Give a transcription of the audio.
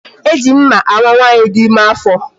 E ji mma awa nwaanyị dị ime afọ